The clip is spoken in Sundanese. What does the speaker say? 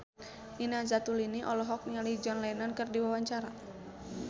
Nina Zatulini olohok ningali John Lennon keur diwawancara